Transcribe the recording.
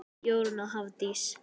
Jórunn og Hafdís.